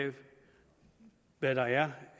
hvad der er